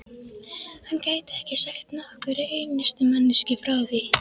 hann gæti ekki sagt nokkurri einustu manneskju frá því.